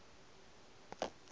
ba se ke ba ja